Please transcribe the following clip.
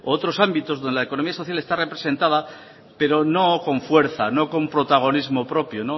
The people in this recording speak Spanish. otros ámbitos donde la economía social está representada pero no con fuerza no con protagonismo propio